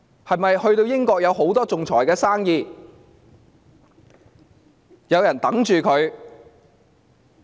是否英國有很多仲裁生意和案件等着她？